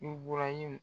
I bɔra yen